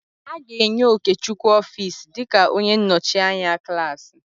A ga-enye Okechukwu ọfiisi dịka onye nnọchianya klaasị.